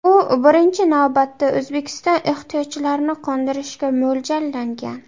U birinchi navbatda O‘zbekiston ehtiyojlarini qondirishga mo‘ljallangan.